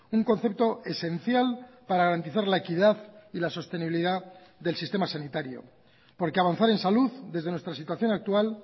un concepto esencial para garantizar la equidad y la sostenibilidad del sistema sanitario porque avanzar en salud desde nuestra situación actual